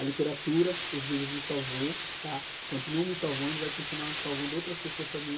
A literatura, os livros, me salvou, tá? Continuam me salvando e vão continuar salvando outras pessoas também.